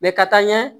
ka taa ɲɛ